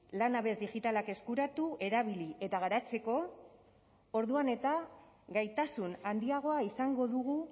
lanabes digitalak eskuratu erabili eta garatzeko orduan eta gaitasun handiagoa izango dugu